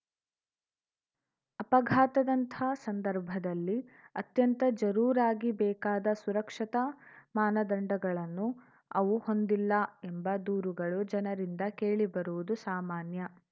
ಅಪಘಾತದಂಥ ಸಂದರ್ಭದಲ್ಲಿ ಅತ್ಯಂತ ಜರೂರಾಗಿ ಬೇಕಾದ ಸುರಕ್ಷತಾ ಮಾನದಂಡಗಳನ್ನು ಅವು ಹೊಂದಿಲ್ಲ ಎಂಬ ದೂರುಗಳು ಜನರಿಂದ ಕೇಳಿಬರುವುದು ಸಾಮಾನ್ಯ